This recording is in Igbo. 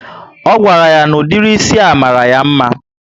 O gwara ya na ụdịrị ísì a mara ya mma